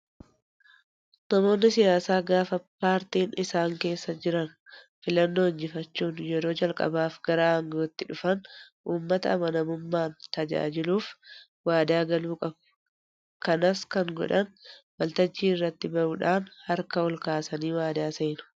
Namoonni siyaasaa gaafa paartiin isaan keessa jiran filannoo injifachuun yeroo calqabaaf gara aangootti dhufan uummata amanamummaan tajaajiluuf waadaa galuu qabu. Kanas kan godhan waltajjii irratti bahuudhaan harka ol kaasanii waadaa seenu.